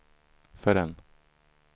förrän